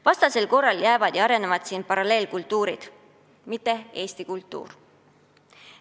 Vastasel korral jäävad siin arenema paralleelkultuurid, mitte eesti kultuur.